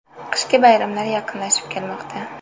Qishki bayramlar yaqinlashib kelmoqda.